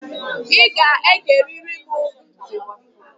I ga-egerịrị m ntị